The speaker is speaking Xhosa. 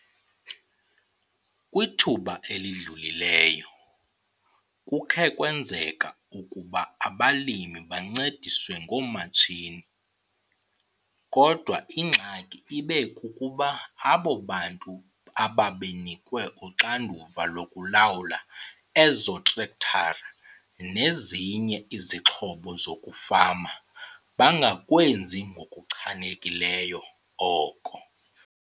Kwithuba elidlulileyo, kukhe kwenzeka ukuba abalimi bancediswe ngoomatshini, kodwa ingxaki ibe kukuba abo bantu ababenikwe uxanduva lokulawula ezo trektara nezinye izixhobo zokufama bangakwenzi ngokuchanekileyo oko.